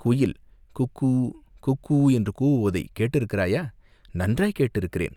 குயில் குக்கூ குக்கூ என்று கூவுவதைக் கேட்டிருக்கிறாயா, நன்றாய்க் கேட்டிருக்கிறேன்.